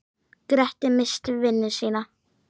Grettir misst vinnuna sína.